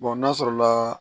n'a sɔrɔla